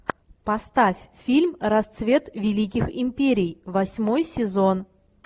поставь фильм расцвет великих империй восьмой сезон